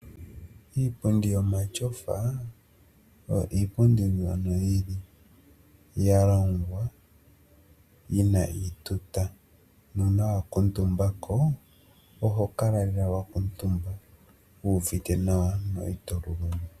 Iipundi yomatyofa oyo iipundi iiwanawa yalongwa yina iituta. Una wakutumbako oho kala lela wakutumbako wuvite nawa no itoluluma.